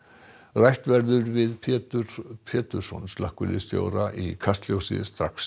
rætt verður við Pétur Pétursson slökkviliðsstjóra í Kastljósi strax